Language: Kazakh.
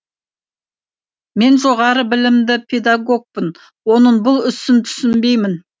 мен жоғары білімді педагогпын оның бұл ісін түсінбеймін